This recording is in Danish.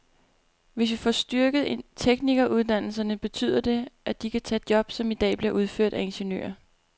Hvis vi får styrket teknikeruddannelserne, betyder det, at de kan tage job, som i dag bliver udført af ingeniører.